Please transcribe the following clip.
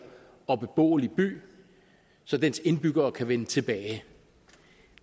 og beboelig by så dens indbyggere kan vende tilbage